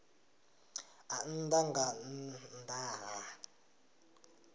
a nnḓa nga nnḓa ha